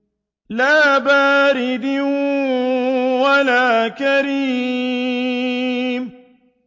لَّا بَارِدٍ وَلَا كَرِيمٍ